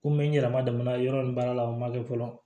Komi n yɛrɛ ma dama yɔrɔ nin baara la o ma kɛ fɔlɔ